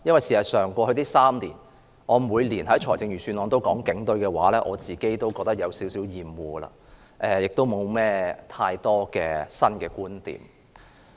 事實上，過去3年，我每年都在預算案辯論談論警隊，我自己也有點厭惡，也沒有太多新的觀點。